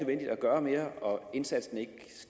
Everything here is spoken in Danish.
gøre mere og at indsatsen ikke